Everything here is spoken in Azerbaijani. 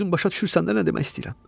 Özün başa düşürsən nə nə demək istəyirəm?